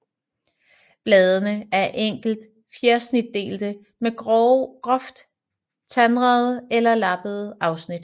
Bladene er enkelt fjersnitdelte med groft tandede eller lappede afsnit